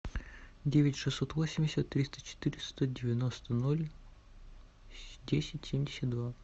девять шестьсот восемьдесят триста четыреста девяносто ноль десять семьдесят два